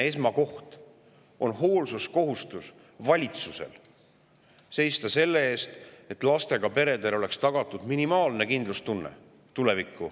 Valitsuse esimene hoolsuskohustus on seista selle eest, et lastega peredele oleks tulevikuks tagatud minimaalne kindlustunne.